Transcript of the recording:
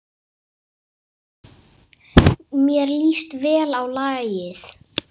Mér líst vel á lagið.